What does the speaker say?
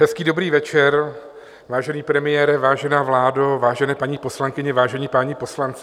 Hezký dobrý večer, vážený premiére, vážená vládo, vážené paní poslankyně, vážení páni poslanci.